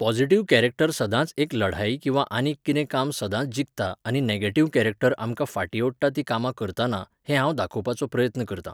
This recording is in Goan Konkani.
पॉजिटिव्ह कॅरॅक्टर सदांच एक लढाई किंवां आनीक कितें काम सदांच जिखता आनी नॅगेटिव्ह कॅरॅक्टर आमकां फाटी ओडटा तीं कामां करताना, हें हांव दाखोवपाचो प्रयत्न करतां